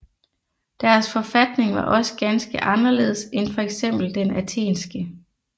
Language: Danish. Deres forfatning var også ganske anderledes end fx den athenske